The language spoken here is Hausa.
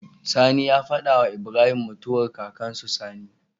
Sani ya fada wa Ibrahim mutuwa kakan su Sani